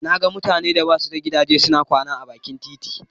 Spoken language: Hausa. Na ga mutanen da ba su da gidaje suna kwana a bakin titi.